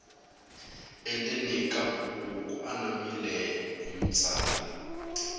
endzeni ka buku ku anamile hi vutsari